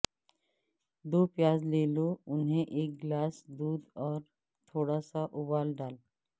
دو پیاز لے لو انہیں ایک گلاس دودھ اور تھوڑا سا ابال ڈال